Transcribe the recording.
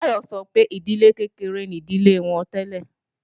Táyọ̀ sọ pé ìdílé kékeré ni ìdílé àwọn tẹ́lẹ̀